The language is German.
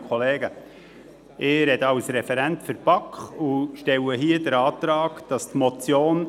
der BaK. Ich spreche als Referent der BaK und stelle hier den Antrag, die Motion